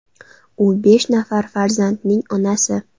U besh nafar farzandning onasi.